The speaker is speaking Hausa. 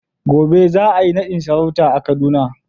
gobe za a yi nadin sarauta a Kaduna.